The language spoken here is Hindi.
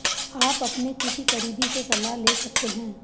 आप अपने किसी करीबी से सलाह ले सकते हैं